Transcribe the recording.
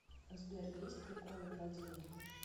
сбер есть приколы про деньги